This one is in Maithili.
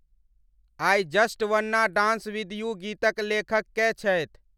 I just wanna dance with you गीतक लेखक कए छथि ?